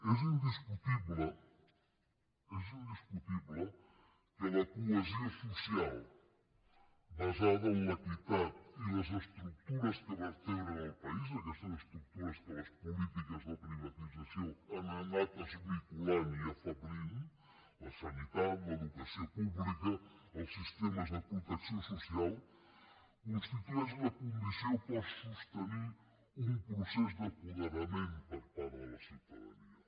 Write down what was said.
és indiscutible és indiscutible que la cohesió social basada en l’equitat i les estructures que vertebren el país aquestes estructures que les polítiques de privatització han anat esmicolant i afeblint la sanitat l’educació pública els sistemes de protecció social constitueix la condició per sostenir un procés d’apoderament per part de la ciutadania